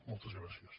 moltes gràcies